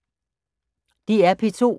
DR P2